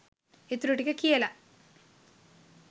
ඉතුරු ටික කියලා